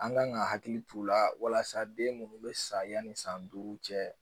An kan ka hakili t'u la walasa den minnu bɛ sa yanni san duuru cɛ